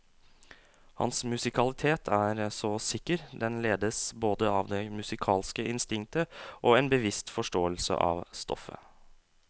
Hans musikalitet er så sikker, den ledes både av det musikalske instinktet og en bevisst forståelse av stoffet.